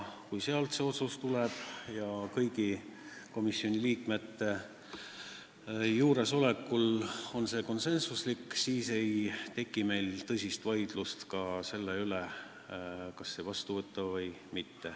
Kui sealt tuleb otsus, mis on tehtud konsensuslikult kõigi komisjoni liikmete osavõtul, siis ei teki meil siin tõsist vaidlust selle üle, kas see vastu võtta või mitte.